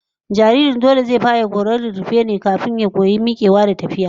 Jariri dole zai fara koyon rarrafe ne farko, kafin ya koyi mikewa da tafiya